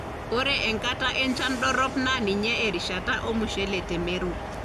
Ore enkata enchan dorrop naa ninye erishata ormushele te meru.